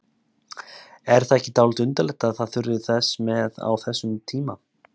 Er það ekki dálítið undarlegt að það þurfi þess með á þessum tíma?